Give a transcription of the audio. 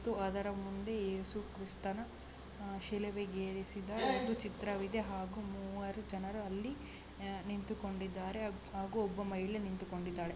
ಅದರ ಮುಂದೆ ಏಸುಕ್ರಿಸ್ತನ ಶಿಲಭೆಗೇರಿಸಿದ ಎರಡು ಚಿತ್ರವಿದೆ. ಹಾಗೂ ಮೂವರು ಜನರು ಅಲ್ಲಿ ನಿಂತುಕೊಂಡಿದ್ದಾರೆ. ಹಾಗೂ ಒಬ್ಬ ಮಹಿಳೆ ನಿಂತುಕೊಂಡಿದ್ದಾಳೆ.